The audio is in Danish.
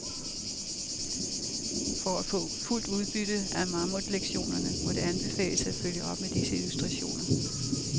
For at få fuldt udbytte af mammutlektionerne må det anbefales at følge op med disse illustrationer.